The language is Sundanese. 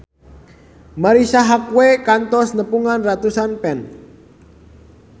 Marisa Haque kantos nepungan ratusan fans